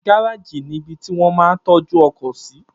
Gáràjì ni ibi tí wón máa ń tọ́jú ọkọ̀ sí